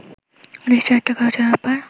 নিশ্চয় একটা খরচের ব্যাপার